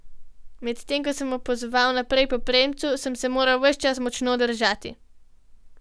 Medtem ko sem opazoval naprej po premcu, sem se moral ves čas močno držati.